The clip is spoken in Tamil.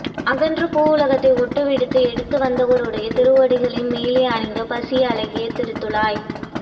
அகன்ற பூ உலகத்தை ஒட்டு விடுவித்து எடுத்து வந்தவருடைய திருவடிகளின் மேலே அணிந்த பசிய அழகிய திருத்துழாய்